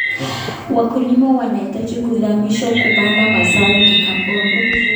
Wakulima wanahitaji kuhamasishwa kupanda mazao ya kikaboni.